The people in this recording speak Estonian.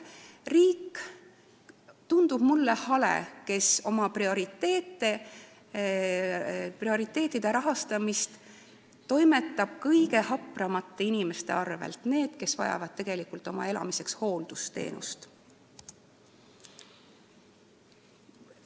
Riik tundub mulle hale, kui ta oma prioriteetide rahastamist toimetab kõige hapramate inimeste arvel, nende arvel, kes vajavad tegelikult elamiseks hooldusteenust.